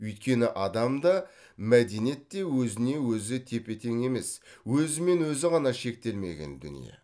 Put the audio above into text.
өйткені адам да мәдениет те өзіне өзі тепе тең емес өзімен өзі ғана шектелмеген дүние